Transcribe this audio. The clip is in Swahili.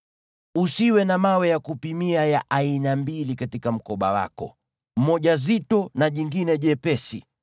Usiwe na mawe ya kupimia ya aina mbili katika mkoba wako, moja zito na jingine jepesi.